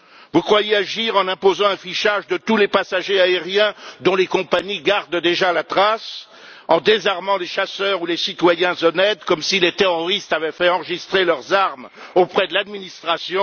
Vous croyez agir en imposant un fichage de tous les passagers aériens dont les compagnies gardent déjà la trace, en désarmant les chasseurs ou les citoyens honnêtes, comme si les terroristes avaient fait enregistrer leurs armes auprès de l'administration.